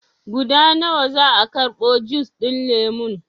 Guda nawa za a karɓo jus ɗin lemon?